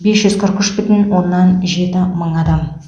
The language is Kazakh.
бес жүз қырық үш бүтін оннан жеті мың адам